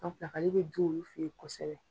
ale bɛ dun olu fɛ yen kosɛbɛ.